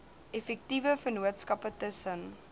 effektiewe vennootskappe tussen